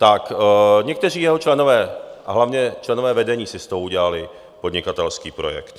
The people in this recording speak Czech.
Tak někteří jeho členové a hlavně členové vedení si z toho udělali podnikatelský projekt.